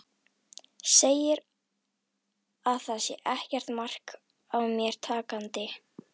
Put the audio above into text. Segir að það sé ekkert mark á mér takandi.